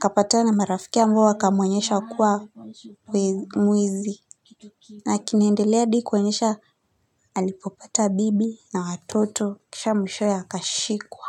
kapatana na marafikia ambao wakamwonyesha kwa mwizi na kinaendelea hadi kuonyesha alipopata bibi na watoto kisha mwishowe akashikwa.